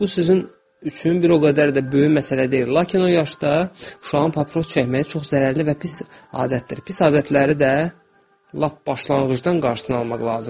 Bu sizin üçün bir o qədər də böyük məsələ deyil, lakin o yaşda uşağın papiros çəkməyi çox zərərli və pis adətdir, pis adətləri də lap başlanğıcdan qarşısını almaq lazımdır.